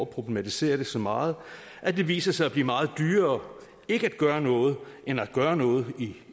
problematisere det så meget at det viser sig at blive meget dyrere ikke at gøre noget end at gøre noget